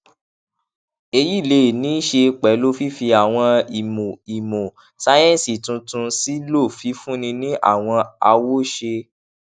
èyí lè ní í ṣe pèlú fífi àwọn ìmò ìmò sáyéǹsì tuntun sílò fífúnni ní àwọn awoṣe